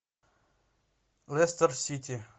лестер сити